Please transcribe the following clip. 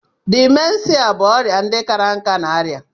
Dimenshia bụ ọrịa ndị kara nká na'aria.